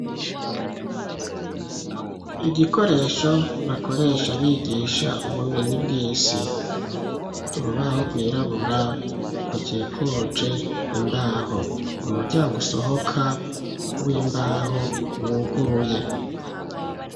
Igikoresho bakoresha bigisha ubumenyi bw'isi, urubaho rwirabura rukikuje imbaho, umuryango usohoka w'imbaho wuguruye.